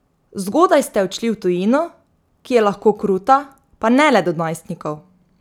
Zgodaj ste odšli v tujino, ki je lahko kruta, pa ne le do najstnikov.